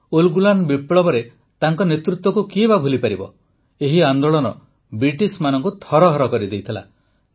ଉଲଗୁଲାନ୍ ବିପ୍ଳବରେ ତାଙ୍କ ନେତୃତ୍ୱକୁ କିଏ ବା ଭୁଲିପାରିବ ଏହି ଆନ୍ଦୋଳନ ବ୍ରିଟିଶମାନଙ୍କୁ ଥରହର କରିଦେଇଥିଲା